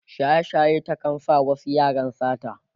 shaye shaye ta kan sa wasu yaran sata